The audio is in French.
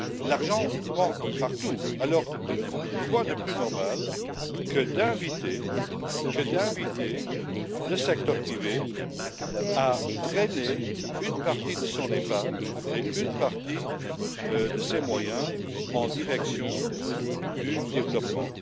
L'argent manque partout, alors quoi de plus normal que d'inviter le secteur privé à drainer une partie de son épargne et une partie de ses moyens en direction du développement.